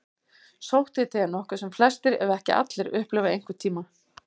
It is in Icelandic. Sótthiti er nokkuð sem flestir, ef ekki allir, upplifa einhvern tíma.